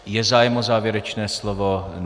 Je zájem o závěrečné slovo?